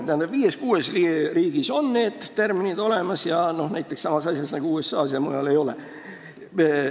Tähendab, viies-kuues riigis on need tärminid olemas, nagu näiteks USA-s, aga mujal ei ole.